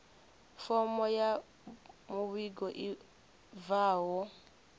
fomo ya muvhigo i bvaho